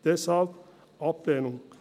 Deshalb Ablehnung.